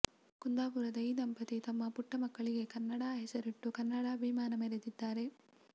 ಕುಂದಾಪುರದ ಈ ದಂಪತಿ ತಮ್ಮ ಪುಟ್ಟ ಮಗಳಿಗೆ ಕನ್ನಡ ಹೆಸರಿಟ್ಟು ಕನ್ನಡಾಭಿಮಾನ ಮೆರೆದಿದ್ದಾರೆ